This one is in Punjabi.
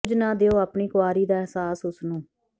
ਕੁਝ ਨਾ ਦਿਓ ਆਪਣੀ ਕੁਆਰੀ ਦਾ ਅਹਿਸਾਸ ਉਸ ਨੂੰ